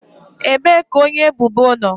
Ebee ka onye ebubo nọ?